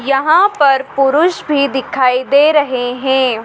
यहां पर पुरुष भी दिखाई दे रहे हैं।